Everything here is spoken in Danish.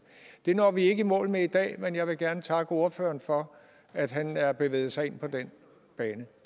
det når vi ikke i mål med i dag men jeg vil gerne takke ordføreren for at han har bevæget sig ind på den bane